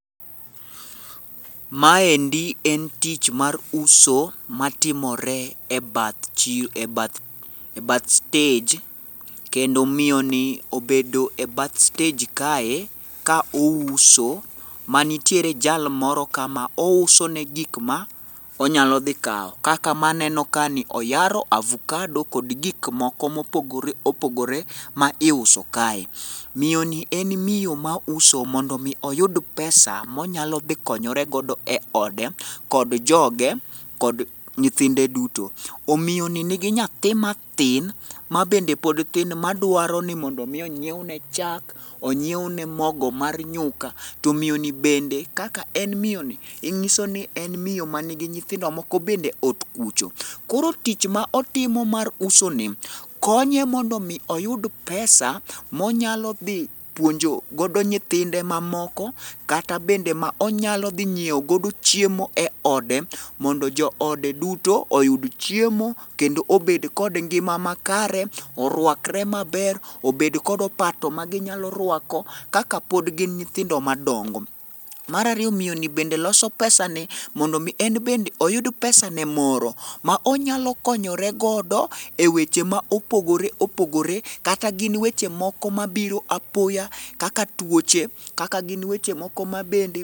Maendi en tich mar uso matimore e bath stej kendo miyoni obedo e bath stej kae ka ouso, manitiere jal moro ka ma ousone gik ma onyalo dhi kawo kaka maneno kani oyaro avukado kod gik moko mopogore opogore ma iuso kae. Miyoni en miyo mauso mondo oyud pesa monyalo dhi konyore godo e ode kod joge kod nyithinde duto, miyoni nigi nyathi mathin mabende pod tin madwaro ni miyo onyiewne chak, onyiewne mogo mar nyuka, to miyoni bende kaka en miyoni, ng'iso ni en miyo manigi nyithindo moko bende ot kucho. Koro tich ma otimo mar usoni, konye mondo omi oyud pesa monyalo dhi puonjo god nyithinde mamoko kata bende ma onyalo dhi nyiewo godo chiemo e ode mondo jood duto oyud chiemo kendo obed kod ngima makare, orwakre maber, obed kod opato maginyalo rwako kaka pod gin nyithindo madpongo. Mar ariyo, miyoni bende loso pesani, mondo en bende oyud pesane moro, ma onyalo konyore godo e weche ma opogore opogore kata gin weche moko mabiro apoya kata tuoche, kaka gin weche moko mabende.